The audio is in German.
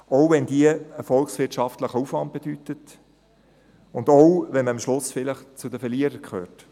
Dies auch dann, wenn diese einen volkswirtschaftlichen Aufwand bedeutet und auch, wenn man am Schluss zu den Verlierern gehört.